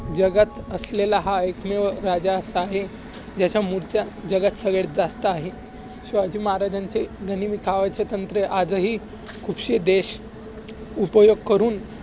जगात असलेला हा एकमेव असा राजा आहे. ज्याच्या मुर्त्या जगात सगळ्यांत जास्त आहेत. शिवाजी महाराजांचे गनिमी कावाचे तंत्र आजही खुपशे देश उपयोग करून